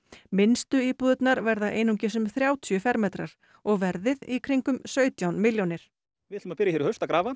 minnstu íbúðirnar verða einungis um þrjátíu fermetrar og verðið í kringum sautján milljónir við ætlum að byrja í haust að grafa